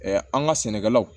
an ka sɛnɛkɛlaw